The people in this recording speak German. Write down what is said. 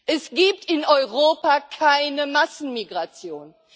Es gibt in Europa keine Massenmigration.